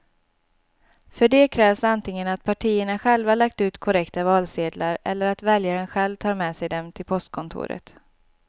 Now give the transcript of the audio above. För det krävs antingen att partierna själva lagt ut korrekta valsedlar eller att väljaren själv tar med sig dem till postkontoret.